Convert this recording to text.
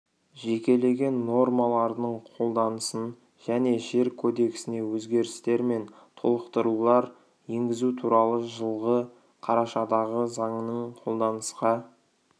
жекелеген нормаларының қолданысын және жер кодексіне өзгерістер мен толықтырулар енгізу туралы жылғы қарашадағы заңының қолданысқа